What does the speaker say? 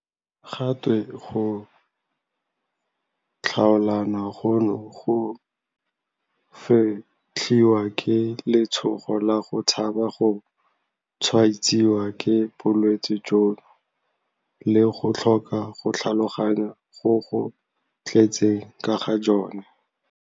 Ga twe go tlhaolana gono go fetlhiwa ke letshogo la go tshaba go tshwaetsiwa ke bolwetse jono le go tlhoka go tlhaloganya go go tletseng ka ga jone.